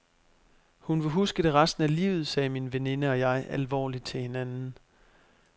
Hun vil huske det resten af livet, sagde min veninde og jeg alvorligt til hinanden.